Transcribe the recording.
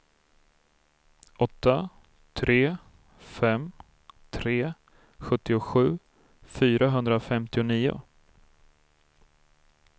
åtta tre fem tre sjuttiosju fyrahundrafemtionio